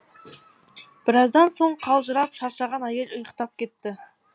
біраздан соң қалжырап шаршаған әйел ұйықтап кетті